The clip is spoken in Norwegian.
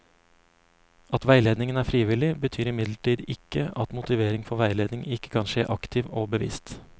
At veiledningen er frivillig, betyr imidlertid ikke at motivering for veiledning ikke kan skje aktivt og bevisst.